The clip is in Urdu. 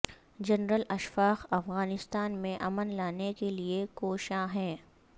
جنرل اشفاق افغانستان میں امن لانے کے لیے کوشاں ہیں